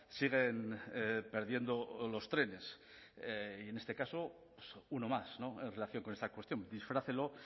siguen perdiendo los trenes y en este caso uno más en relación con esta cuestión disfrácelo